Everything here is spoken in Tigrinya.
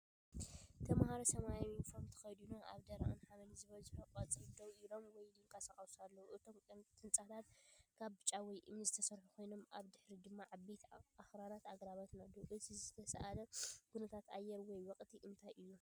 ተማሃሮ ሰማያዊ ዩኒፎርም ተኸዲኖም ኣብ ደረቕን ሓመድ ዝበዝሖን ቀጽሪ ደው ኢሎም ወይ ይንቀሳቐሱ ኣለዉ። እቶም ህንጻታት ካብ ጭቃ ወይ እምኒ ዝተሰርሑ ኮይኖም ኣብ ድሕሪት ድማ ዓበይቲ ኣኽራንን ኣግራብን ኣለዉ። እቲ ዝተሳእለ ኩነታት ኣየር ወይ ወቕቲ እንታይ እዩ?